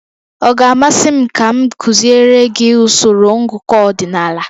Ọ ga-amasị m ka m kuziere gị usoro ngụkọ ọdịnala?